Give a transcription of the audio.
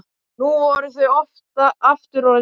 Nú voru þau aftur orðin ein.